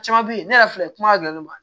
Caman be ye ne yɛrɛ filɛ kuma gɛlɛn ma